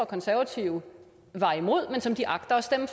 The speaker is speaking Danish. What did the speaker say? konservative var imod men som de agter at stemme